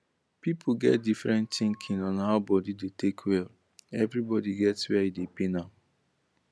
pipu get difrent thinkin on how body da take well everi body get wer e da pain am